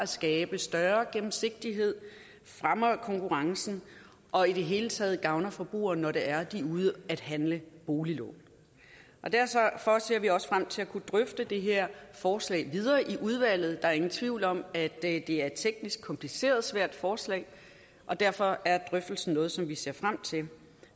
skabe større gennemsigtighed fremme konkurrencen og i det hele taget gavne forbrugerne når de er ude at handle boliglån og derfor ser vi også frem til at kunne drøfte det her forslag videre i udvalget der er ingen tvivl om at at det er et teknisk kompliceret og svært forslag og derfor er drøftelsen noget som vi ser frem til